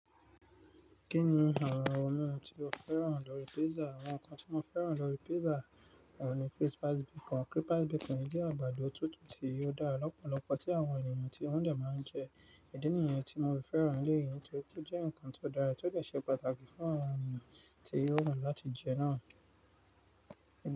Kí ni àwọn ohun mimu tí o féràn lórí pizza? Àwọn nkan tí mo féràn lórí pizza òun ní crisp base bacon. Crisp base bacon jẹ́ àgbàdo tútù tí yóò dá ọ̀pọ̀lọpọ̀ tí àwọn ènìyàn tí wọ́n dẹ̀ máa ń jẹ. Ìdi nìyẹn tí mo fi fẹ́ràn eléyìí torí pé ó jẹ́ ǹkan tó dára tí ó dẹ̀ ṣe pàtàkì fún àwọn ènìyàn tí yóò wù láti jẹ náà.